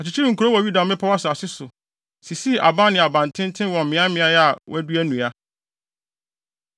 Ɔkyekyeree nkurow wɔ Yuda mmepɔw asase so, sisii aban ne abantenten wɔ mmeaemmeae a wɔadua nnua.